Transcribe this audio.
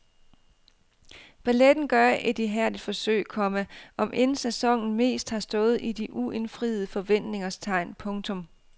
Balletten gør et ihærdigt forsøg, komma om end sæsonen mest har stået i de uindfriede forventningers tegn. punktum